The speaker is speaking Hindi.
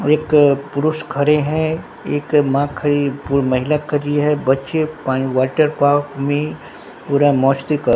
एक पुरुष खड़े हैं एक मां खड़ी पु महिला खड़ी है बच्चे पानी वाटर पार्क में पूरा मस्ती क--